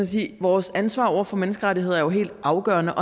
sige vores ansvar over for menneskerettigheder er jo helt afgørende